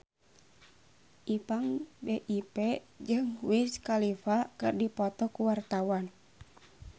Ipank BIP jeung Wiz Khalifa keur dipoto ku wartawan